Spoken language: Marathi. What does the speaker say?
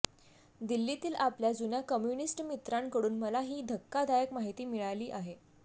दिल्लीतील आपल्या जुन्या कम्युनिस्ट मित्रांकडून मला ही धक्कादायक माहिती मिळाली आहे